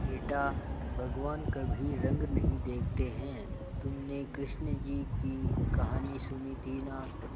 बेटा भगवान कभी रंग नहीं देखते हैं तुमने कृष्ण जी की कहानी सुनी थी ना